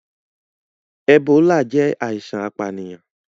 Ebola jẹ aisan apaniyan.